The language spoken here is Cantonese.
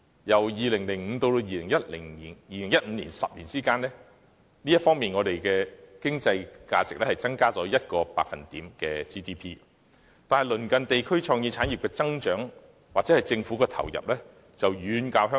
由2005年至2015年的10年間，本港 GDP 在這方面的經濟價值增加了1個百分點，但鄰近地區在創意產業上的增長，又或是當地政府的投入，卻遠高於香港。